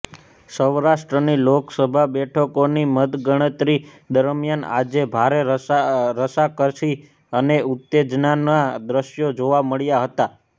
સૌરાષ્ટ્રની લોકસભા બેઠકોની મતગણતરી દરમ્યાન આજે ભારે રસાકસી અને ઉત્તેજનાના દ્રશ્યો જોવા મળ્યા હતા